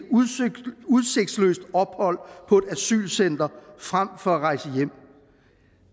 udsigtsløst ophold på et asylcenter frem for at rejse hjem